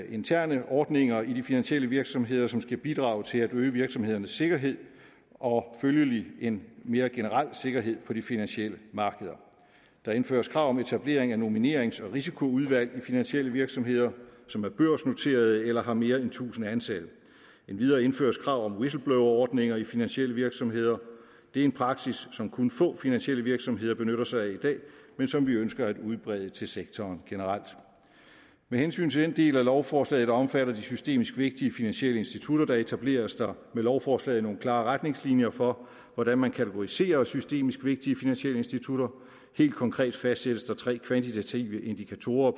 interne ordninger i de finansielle virksomheder som skal bidrage til at øge virksomhedernes sikkerhed og følgelig en mere generel sikkerhed på de finansielle markeder der indføres krav om etablering af nominerings og risikoudvalg i finansielle virksomheder som er børsnoterede eller har mere end tusind ansatte endvidere indføres krav om whistleblowerordninger i finansielle virksomheder det er en praksis som kun få finansielle virksomheder benytter sig af i dag men som vi ønsker at udbrede til sektoren generelt med hensyn til den del af lovforslaget der omfatter de systemisk vigtige finansielle institutter etableres der med lovforslaget nogle klare retningslinjer for hvordan man kategoriserer systemisk vigtige finansielle institutter helt konkret fastsættes der tre kvantitative indikatorer